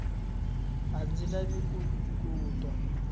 a ndzi lavi ku twa